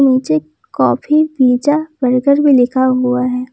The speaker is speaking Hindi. नीचे कॉफी पिज़्ज़ा बर्गर भी लिखा हुआ है।